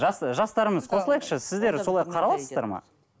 жастарымыз қосылайықшы сіздер солай қараласыздар ма